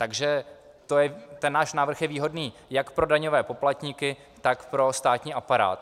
Takže ten náš návrh je výhodný jak pro daňové poplatníky, tak pro státní aparát.